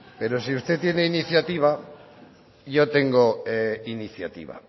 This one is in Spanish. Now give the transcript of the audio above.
pero si usted tiene iniciativa y yo tengo iniciativa